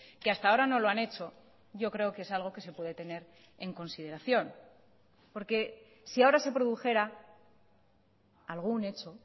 que hasta ahora no lo han hecho yo creo que es algo que se puede tener en consideración porque si ahora se produjera algún hecho